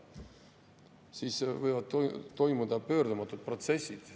Siis võivad toimuda pöördumatud protsessid.